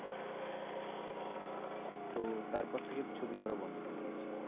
তো তারপর থেকে ছবি করা বন্ধ করে দিয়েছে।